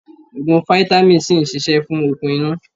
Ogun fitàmì si ń ṣíṣe fún okun inú.